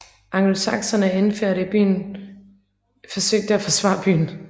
Angelsakserne inde i byen forsøgte at forsvare byen